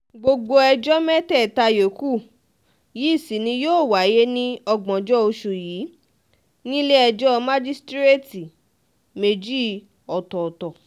gbogbo ẹjọ́ mẹ́tẹ̀ẹ̀ta yòókù yìí sì ni yóò wáyé ní ògbóǹjọ oṣù yìí nílẹ̀-ẹjọ́ májísíréètì méjì ọ̀tọ̀ọ̀tọ̀